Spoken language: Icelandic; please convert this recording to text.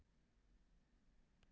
Bjarma, hvað er á dagatalinu í dag?